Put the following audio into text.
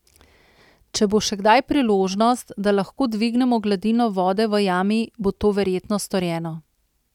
Če bo še kdaj priložnost, da lahko dvignemo gladino vode v jami, bo to verjetno storjeno.